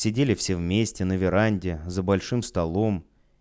сидели все вместе на веранде за большим столом